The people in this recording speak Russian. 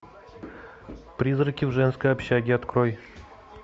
призраки в женской общаге открой